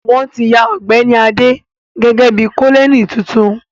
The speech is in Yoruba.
Wọ́n ti yan Ọ̀gbẹ́ni Adé gẹ́gẹ́ bí Kọ́nẹ́ẹ̀lì tuntun